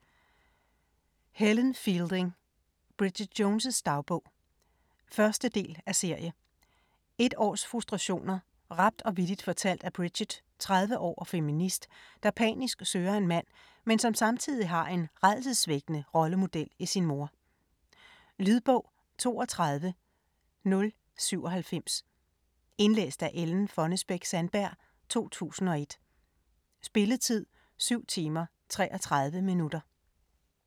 Fielding, Helen: Bridget Jones' dagbog 1. del af serie. Et års frustrationer, rapt og vittigt fortalt af Bridget, 30 år og feminist, der panisk søger en mand, men som samtidig har en rædselsvækkende rollemodel i sin mor. Lydbog 32097 Indlæst af Ellen Fonnesbech-Sandberg, 2001. Spilletid: 7 timer, 33 minutter.